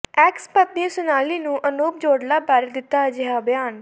X ਪਤਨੀ ਸੋਨਾਲੀ ਨੇ ਅਨੂਪ ਜਲੋਟਾ ਬਾਰੇ ਦਿੱਤਾ ਅਜਿਹਾ ਬਿਆਨ